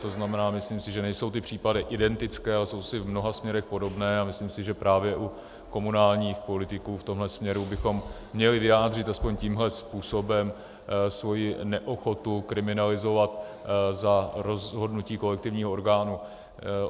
To znamená, myslím si, že nejsou ty případy identické, ale jsou si v mnoha směrech podobné, a myslím si, že právě u komunálních politiků v tomhle směru bychom měli vyjádřit aspoň tímhle způsobem svoji neochotu kriminalizovat za rozhodnutí kolektivního orgánu.